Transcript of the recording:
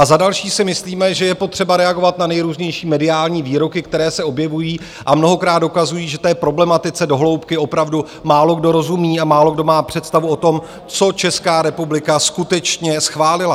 A za další si myslíme, že je potřeba reagovat na nejrůznější mediální výroky, které se objevují a mnohokrát dokazují, že té problematice do hloubky opravdu málokdo rozumí a málokdo má představu o tom, co Česká republika skutečně schválila.